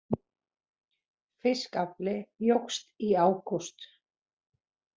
Fiskafli jókst í ágúst